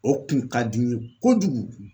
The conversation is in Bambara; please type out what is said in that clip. O kun ka di n ye kojugu